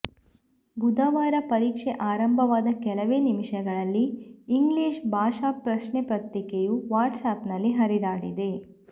ಬುಧವಾರ ಪರೀಕ್ಷೆ ಆರಂಬವಾದ ಕೆಲವೇ ನಿಮಿಷಗಳಲ್ಲಿ ಇಂಗ್ಲೀಷ್ ಭಾಷಾ ಪ್ರಶ್ನೆಪತ್ರಿಕೆಯು ವಾಟ್ಸ್ ಆ್ಯಪ್ ನಲ್ಲಿ ಹರಿದಾಡಿದೆ